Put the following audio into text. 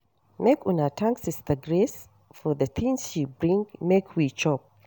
Make una thank sister Grace for the things she bring make we chop.